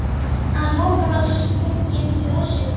Að lokum var svo sunginn þjóðsöngurinn.